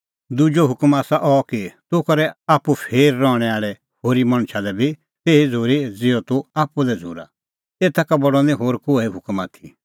दुजअ हुकम आसा अह कि तूह करै आप्पू फेर रहणैं आल़ै होरी मणछा लै बी तेही झ़ूरी ज़िहअ तूह आप्पू लै झ़ूरा एता का बडअ निं होर कोहै हुकम आथी